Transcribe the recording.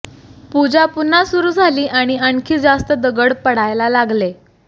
पूजा पुन्हा सुरू झाली आणि आणखी जास्त दगड पडायला लागले